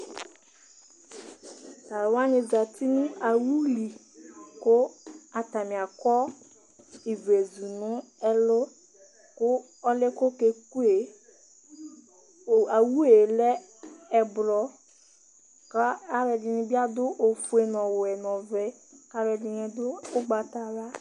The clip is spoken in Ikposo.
Tʋ alʋ wanɩ zati nʋ awu li kʋ atanɩ akɔ ivlezu nʋ ɛlʋ kʋ ɔlʋ yɛ kʋ ɔkeku yɛ Tʋ awu yɛ lɛ ɛblɔ kʋ alʋɛdɩnɩ bɩ adʋ ofue, ɔwɛ nʋ ɔvɛ kʋ alʋɛdɩnɩ dʋ ʋgbatawla